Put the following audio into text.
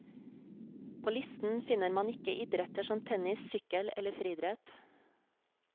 På listen finner man ikke idretter som tennis, sykkel eller friidrett.